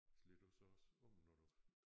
Slår du så også om når du